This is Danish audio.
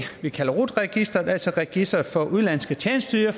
vi kalder rut registeret altså registret for udenlandske tjenesteydere